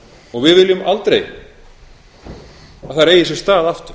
og við viljum aldrei að þær eigi sér stað aftur